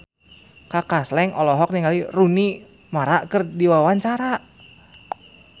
Kaka Slank olohok ningali Rooney Mara keur diwawancara